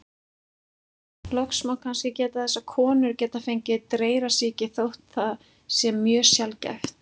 Loks má kannski geta þess að konur geta fengið dreyrasýki, þótt það sé mjög sjaldgæft.